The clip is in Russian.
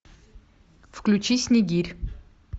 включи снегирь